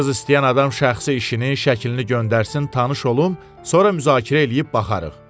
Qız istəyən adam şəxsi işini, şəklini göndərsin tanış olum, sonra müzakirə eləyib baxarıq.